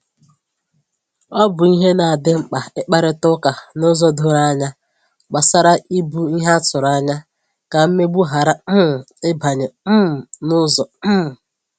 Ọ bụ ìhè na adị mkpa ikparịta ụka n’ụzọ doro ànyà gbasàrà ìbù ìhè a tụrụ anya, ka mmegbu ghara um ịbanye um n’ụzọ um